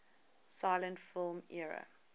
silent film era